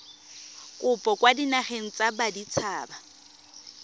kopo kwa dinageng tsa baditshaba